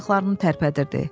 Barmaqlarını tərpədirdi.